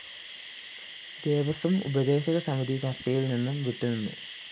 ദേവസ്വം ഉപദേശകസമിതി ചര്‍ച്ചയില്‍ നിന്ന് വിട്ടുനിന്നു